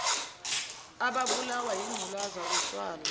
ababulawa yingculaza utshwala